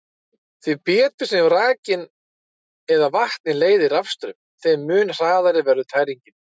Því betur sem rakinn eða vatnið leiðir rafstraum, þeim mun hraðari verður tæringin.